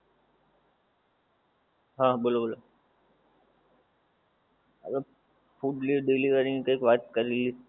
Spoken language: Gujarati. હા બોલો બોલો હવે food delivering ની કઈક વાત કરેલી